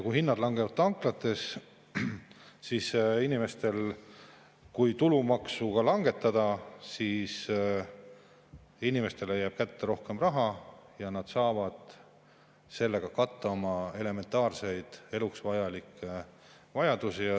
Kui hinnad langevad tanklates, siis inimestele, kui ka tulumaksu langetada, jääb kätte rohkem raha ja nad saavad sellega katta oma elementaarseid, eluks vajalikke vajadusi.